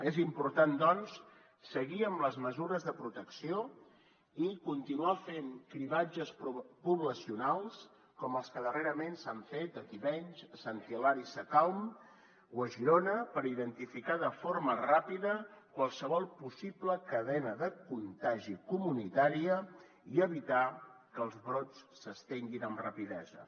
és important doncs seguir amb les mesures de protecció i continuar fent cribratges poblacionals com els que darrerament s’han fet a tivenys a sant hilari sacalm o a girona per identificar de forma ràpida qualsevol possible de cadena de contagi comunitària i evitar que els brots s’estenguin amb rapidesa